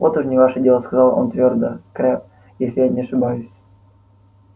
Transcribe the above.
вот уж не ваше дело сказал он твёрдо крэбб если я не ошибаюсь